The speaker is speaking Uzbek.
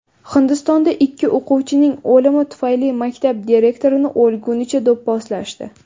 Hindistonda ikki o‘quvchining o‘limi tufayli maktab direktorini o‘lgunicha do‘pposlashdi.